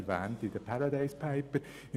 Er wird in den «Paradise Papers» erwähnt.